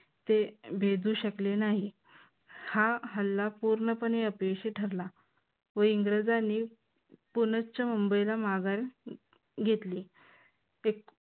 ते भेदू शकले नाही. हा हल्ला पूर्णपणे अपयशी ठरला व इंग्रजांनी पुनश्च मुंबईला माघार घेतली.